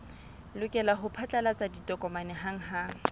lokela ho phatlalatsa ditokomane hanghang